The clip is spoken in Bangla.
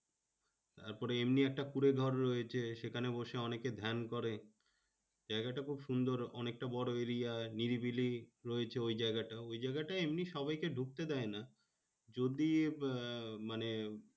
তারপরে এমনি একটা কুঁড়ে ঘর রয়েছে সেখানে বসে অনেকে ধ্যান করে। জায়গাটা খুব সুন্দর অনেকটা বড় area য় নিরিবিলি রয়েছে ওই জায়গাটা। ওই জায়গাটায় এমনি সবাইকে ঢুকতে দেয় না। যদি বা মানে